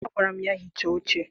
Agwara m ya hichaa oche!